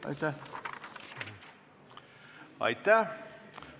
Aitäh!